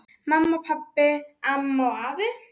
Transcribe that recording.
Mamma, pabbi, amma og afi.